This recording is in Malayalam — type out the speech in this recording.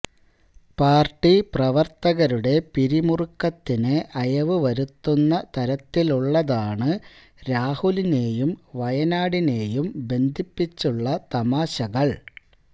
പാര്ട്ടി പ്രവര്ത്തകരുടെ പിരുമുറുക്കത്തിന് അയവുവരുത്തുന്ന തരത്തിലുള്ളതാണ് രാഹുലിനേയും വയനാടിനേയും ബന്ധിപ്പിച്ചുള്ള തമാശകള്